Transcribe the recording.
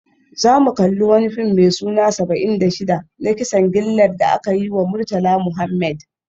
Za mu kalli wani fim mai suna Saba'in da Shida, na kisan gillar da aka yi wa Murtala Muhammed